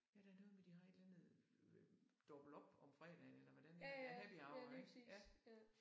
Ja der er noget med de har et eller andet dobbelt op om fredagen eller hvordan er det happy hour ik ja